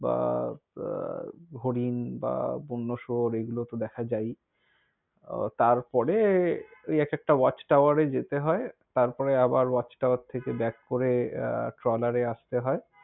বা, হরিন, বা বন্য শুয়োর, এগুলো তো দেখা যাই। তারপরে ঐ এক একটা watchtower এ যেতে হয়। তারপরে আবার watch tower থেকে back করে আহ ট্রলারে আসতে।